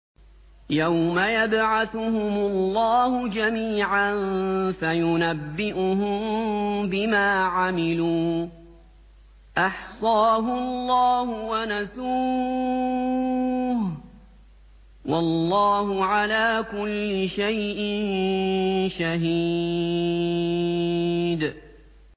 يَوْمَ يَبْعَثُهُمُ اللَّهُ جَمِيعًا فَيُنَبِّئُهُم بِمَا عَمِلُوا ۚ أَحْصَاهُ اللَّهُ وَنَسُوهُ ۚ وَاللَّهُ عَلَىٰ كُلِّ شَيْءٍ شَهِيدٌ